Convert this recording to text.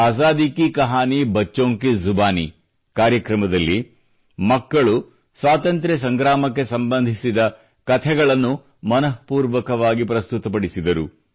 ಅಜಾದಿ ಕಿ ಕಹಾನಿ ಬಚ್ಚೊಂಕಿ ಜುಬಾನಿ ಕಾರ್ಯಕ್ರಮದಲ್ಲಿ ಮಕ್ಕಳು ಸ್ವಾತಂತ್ರ್ಯ ಸಂಗ್ರಾಮಕ್ಕೆ ಸಂಬಂಧಿಸಿದ ಕಥೆಗಳನ್ನು ಮನಃಪೂರ್ವಕವಾಗಿ ಪ್ರಸ್ತುತಪಡಿಸಿದರು